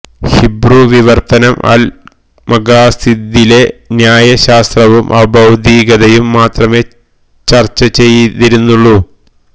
Hebrew വിവര്ത്തനം അല് മഖാസിദിലെ ന്യായ ശാസ്ത്രവും അഭൌതികതയും മാത്രമേ ചര്ച്ച ചെയ്തിരുന്നുള്ളു